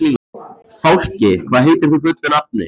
Fálki, hvað heitir þú fullu nafni?